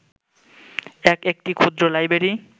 এক একটি ক্ষুদ্র লাইব্রেরী